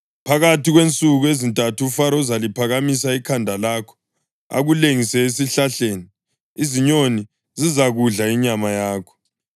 Phakathi kwensuku ezintathu uFaro uzaliphakamisa ikhanda lakho akulengise esihlahleni. Izinyoni zizakudla inyama yakho.”